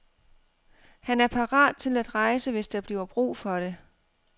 Han er parat til at rejse, hvis der bliver brug for det.